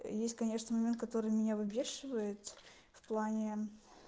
есть конечно момент который меня выбешивает в плане